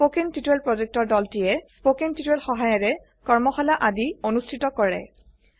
কথন শিক্ষণ প্ৰকল্পৰ দলটিয়ে কথন শিক্ষণ সহায়িকাৰে কৰ্মশালা আদি অনুষ্ঠিত কৰে